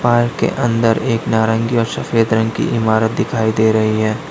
Park के अंदर एक नारंगी और सफेद रंग की इमारत दिखाई दे रही है।